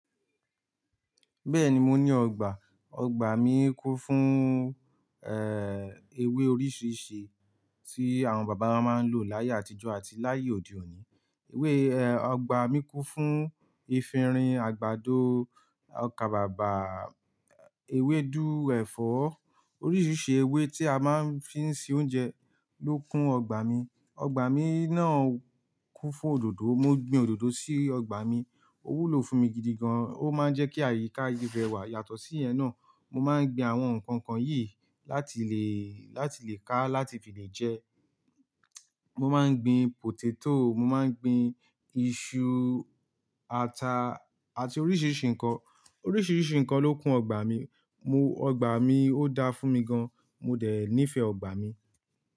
Bẹ́ẹ̀ni, mo ní ọgbà. Ọgbà mi kún fún, ewé oríṣiríṣi tí àwọn bàbá wa máa ń lò láyé àtijọ́ àti láyé òde òní. Ewé, ọgbà mi kún fún efinrin, àgbàdo, ọkàbàbà, ewédú, ẹ̀fọ́. Oríṣiríṣi ewé tí a máa ń fi ń se oúnjẹ ló kún ọgbà mi. Ọgbà mi náà kún fún òdòdó. Mo gbin òdòdó sí ọgbà mi. Ó wúlò fún mi gidigan. Ó máa ń jẹ́ kí àyíká ibẹ̀ wà. Yàtọ̀ sí ìyẹn náà, mo máa ń gbin àwọn nǹkan kan yìí láti lè, láti lè ká, láti fi lè jẹ. Mo máa ń gbin potato, mo máa ń gbin iṣu, ata àti oríṣiríṣi nǹkan. Oríṣiríṣi nǹkan ló kún ọgbà mi. Mo, ọgbà mi ó dá fún mi gan. Mo dẹ̀ nífẹ̀ẹ́ ọgbà mi.